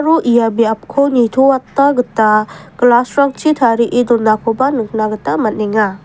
ia biapko nitoatna gita glass-rangchi tarie donakoba nikna gita man·enga.